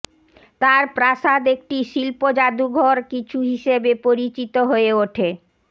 তার প্রাসাদ একটি শিল্প যাদুঘর কিছু হিসাবে পরিচিত হয়ে ওঠে